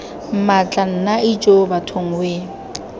mmatla nna ijoo bathong wee